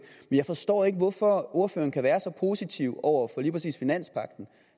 jeg forstår ikke hvorfor ordføreren kan være så positiv over for lige præcis finanspagten